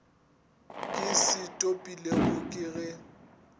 ke se topilego ke ge